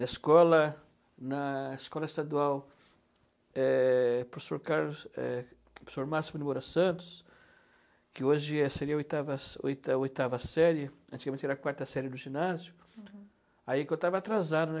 Na escola na escola estadual, é professor Carlos, é professor Máximo de Moura Santos, que hoje seria a oitava série, antigamente era a quarta série do ginásio, aí que eu estava atrasado, né?